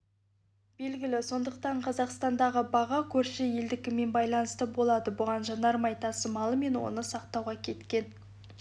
белгілі сондықтан қазақстандағы баға көрші елдікімен байланысты болады бұған жанармай тасымалы мен оны сақтауға кеткен